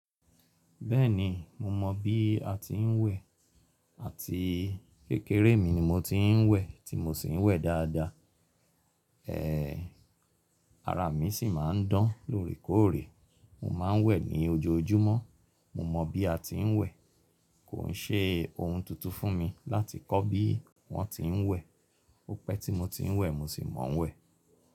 Bẹ́ẹ̀ni, mo mọ bí a ti ń wẹ̀ àti kékeré mi ni mo ti ń wẹ̀ tí mo sì ń wẹ̀ dáadáa. Ara mi sì máa ń dán lóòrèkóòrè. Mo máa ń wẹ̀ ní ojoojúmọ́. Mo mọ bí a ti n wẹ. Kò ń ṣe ohun tuntun fún mi láti kọ́ bí wọ́n ti ń wẹ̀. Ko pẹ tí mo ti n wẹ, mo si mọ ọ wẹ.